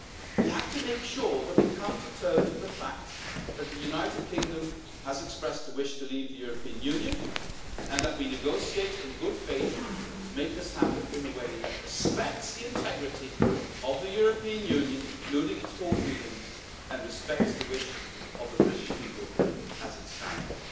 We have to make sure that we come to terms with the fact that the United Kingdom has expressed a wish to leave the European Union and that we negotiate in good faith to make this happen in a way that respects the integrity of the European Union, including its four freedoms, and respects the wish of the British people as it stands.